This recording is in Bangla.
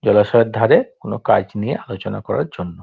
জলাশয়ের ধরে কোনো কাজ নিয়ে আলোচনা করার জন্য |